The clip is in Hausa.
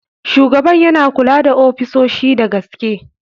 Shugaban yana kula da ofisoshin da gaske.